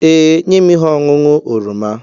Ee, nye m ihe ọṅụṅụ oroma.